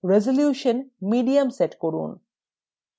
resolution medium set করুন